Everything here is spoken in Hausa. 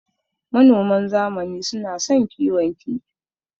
Manoman zamani suna son kiwon kifi.